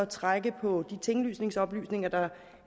trække på de tinglysningsoplysninger der